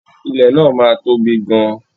Ilẹ̀ náà máa tóbi gan-an.